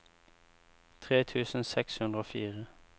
tre tusen seks hundre og fire